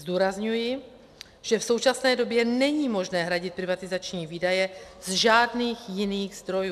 Zdůrazňuji, že v současné době není možné hradit privatizační výdaje z žádných jiných zdrojů.